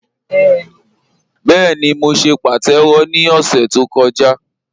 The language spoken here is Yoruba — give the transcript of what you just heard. Bẹẹ̀ni, mó ṣè pàtẹ́wọ̀ ni ọ̀ṣẹ̀ tó kọ̀jà